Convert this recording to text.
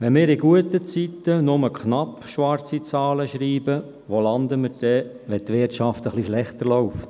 Wenn wir in guten Zeiten nur knapp schwarze Zahlen schreiben, wo landen wir dann, wenn die Wirtschaft etwas schlechter läuft?